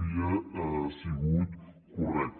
havia sigut correcta